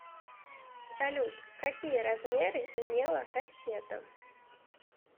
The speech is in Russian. салют какие размеры имела кассета